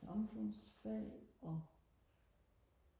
samfundsfag og